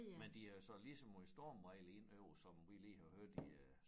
Men de havde så lige så meget stormvejr indover som vi vi lige har haft i øh